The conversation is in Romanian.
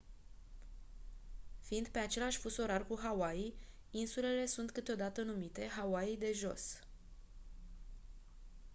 fiind pe același fus orar cu hawaii insulele sunt câteodată numite «hawaii de jos».